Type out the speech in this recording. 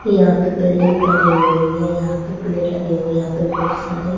यहां पे बिल्डिंग बनी हुई है यहां पे पेड़ लगे हुए यहां पे बहोत सारे --